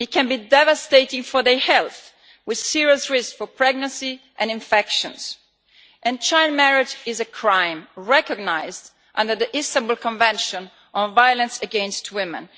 It can be devastating for their health, with serious risks concerning pregnancy and infections. Child marriage is a crime recognised under the Istanbul Convention on Violence against Women.